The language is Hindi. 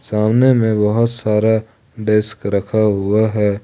सामने में बहोत सारा डेस्क रखा हुआ है।